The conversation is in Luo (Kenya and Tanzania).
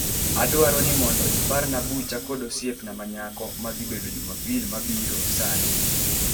Adwaro ni mondo iparna bucha kod osiepna manyako ma dhi bedo jumapil mabiro saa ariyo